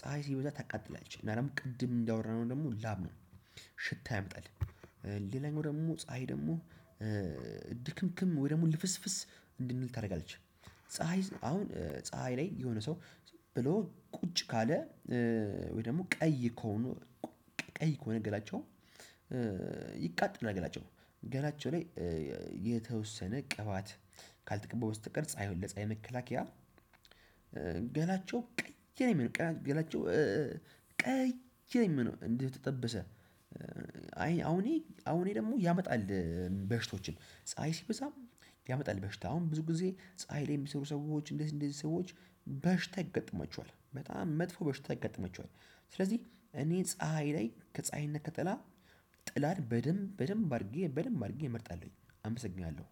ፀሀይ ሲበዛ ታቃጥላሌች እና ደግሞ ቅድም እንዳወራነው ደግሞ ላብ ነው ሽታ ያመጣል። ሌላኛው ደግሞ ፀሀይ ደግሞ ድክምክም ወይ ደግሞ ልፍስፍስ እንድንል ታደርጋለች። ፀሀይ አሁን ፀሀይ ላይ የሆነ ሰው ብሎ ቁጭ ካለ ወይ ደግሞ ቀይ ከሆኑ ቀይ ከሆነ ገላቸው ይቃጠላል ገላቸው ገላቸው ላይ የተወሰነ ቅባት ካልተቀቡ በስተቀር ፀሀይ ለፀሀይ የመከላከያ ገላቸው ቀይ ነው። የሚሆነው ገላቸው ቀይ ነው የሚሆነው። እንዲህ የተጠበሰ አይ አሁን ይሄ አሁን ይሄ ደግሞ ያመጣል። በሽቶችን ፀሀይ ሲበዛም ያመጣል በሽታ አሁን ብዙ ጊዜ ፀሀይ ላይ የሚሰሩ ሰዎች እንደዚህ እንደዚህ ሰዎች በሽታ ያጋጥማቸዋል። በጣም መጥፎ በሽታ ያጋጥማቸዋል። ስለዚህ እኔ ፀሀይ ላይ ከፀሀይ እና ከጥላ ጥላን በደንብ በደንብ አድርጌ በደንብ አድርጌ እመርጣለሁኝ። አመሰግናለሁ።